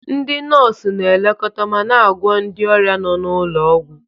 Ndị nọọsụ na-elekọta ma na-agwọ ndị ọrịa nọ n'ụlọ ọgwụ.